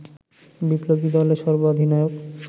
বিপ্লবী দলের সর্বাধিনায়ক